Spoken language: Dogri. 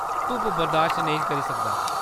धुप्प बर्दाश्त नेईं करी सकदा।